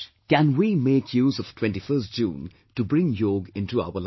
Can we make use of 21st June to bring Yog into our lives